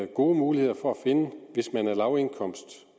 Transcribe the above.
gode muligheder for at finde